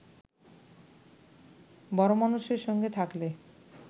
বড়োমানুষের সঙ্গে থাকলে